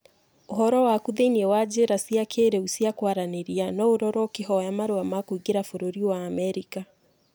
Ũhoro waku thĩinĩ wa njĩra cia kĩrĩu cia kwaranĩria no ũrorwo ũkihoya marũa ma kũingĩra bũrũri wa Amerika